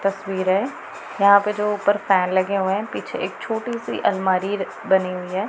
तस्वीरें यहां पे जो ऊपर फैन लगे हुए हैं पीछे एक छोटी सी अलमारी र बनी हुई हैं।